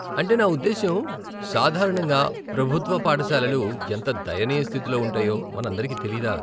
అంటే నా ఉద్దేశ్యం, సాధారణంగా ప్రభుత్వ పాఠశాలలు ఎంత దయనీయ స్థితిలో ఉంటాయో మనందరికి తెలీదా?